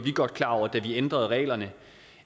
godt klar over da vi ændrede reglerne